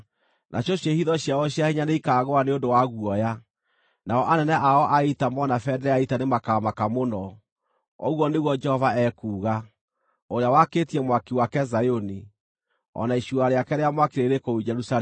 Nacio ciĩhitho ciao cia hinya nĩikaagũa nĩ ũndũ wa guoya; nao anene ao a ita moona bendera ya ita nĩmakamaka mũno,” ũguo nĩguo Jehova ekuuga, ũrĩa wakĩtie mwaki wake Zayuni, o na icua rĩake rĩa mwaki rĩrĩ kũu Jerusalemu.